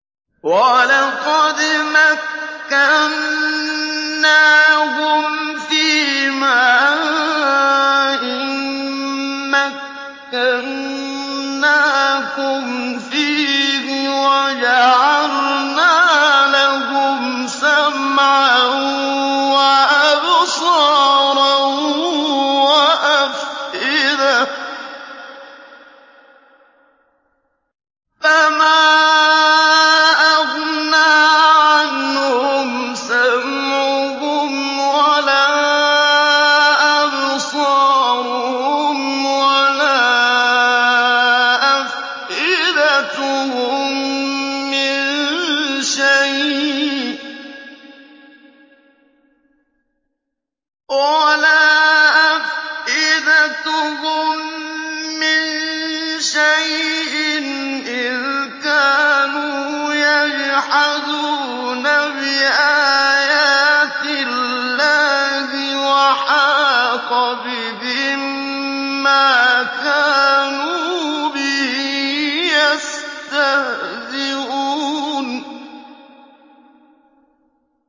وَلَقَدْ مَكَّنَّاهُمْ فِيمَا إِن مَّكَّنَّاكُمْ فِيهِ وَجَعَلْنَا لَهُمْ سَمْعًا وَأَبْصَارًا وَأَفْئِدَةً فَمَا أَغْنَىٰ عَنْهُمْ سَمْعُهُمْ وَلَا أَبْصَارُهُمْ وَلَا أَفْئِدَتُهُم مِّن شَيْءٍ إِذْ كَانُوا يَجْحَدُونَ بِآيَاتِ اللَّهِ وَحَاقَ بِهِم مَّا كَانُوا بِهِ يَسْتَهْزِئُونَ